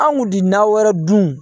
Anw ti na wɛrɛ dun